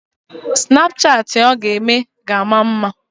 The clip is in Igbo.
Snapchatị ọ ga-eme ga-ama mma.